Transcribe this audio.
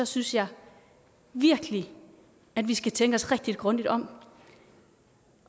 synes jeg virkelig at vi skal tænke os rigtig grundigt om